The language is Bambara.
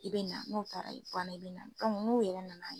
I be na n'o taara i bɛ na n'o yɛrɛ nana ye.